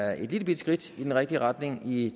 er et lillebitte skridt i den rigtige retning i